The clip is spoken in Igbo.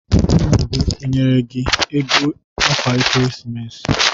Nna gị o nyere gi ego akwa Ekeresimesi?